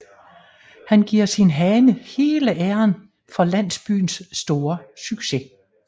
Han giver sin hane hele æren for landsbyens store succes